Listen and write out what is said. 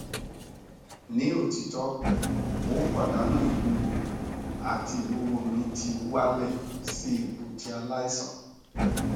ni otito mo n padanu iwuwo ati iwuwo mi ti wa le si ipo ti alaisan